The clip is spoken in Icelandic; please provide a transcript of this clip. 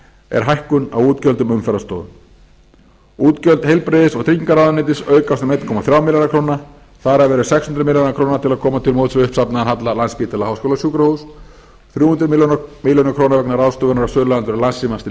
er hækkun á útgjöldum umferðarstofu útgjöld heilbrigðis og tryggingaráðuneytis aukast um einn komma þrjá milljarða króna þar af eru sex hundruð milljóna króna til að koma til móts við uppsafnaðan vanda landspítala háskólasjúkrahúss þrjú hundruð milljóna króna vegna ráðstöfunar á söluandvirði landssímans til